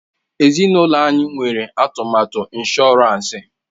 Ezinụlọ anyị nwere atụmatụ ịnshọransị.